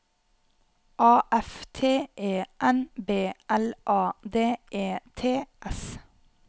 A F T E N B L A D E T S